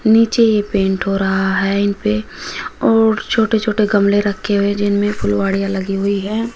नीचे ये पेंट हो रहा है इनपे और छोटे-छोटे गमले रखे हुए जिनमें फुलवाडिया लगी हुई है।